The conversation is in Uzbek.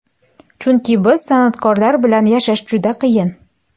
Chunki biz, san’atkorlar, bilan yashash juda qiyin.